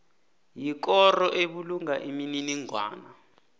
yikoro ebulunga imininingwana